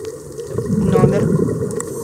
номер